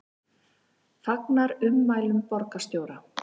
Fagnar ummælum borgarstjóra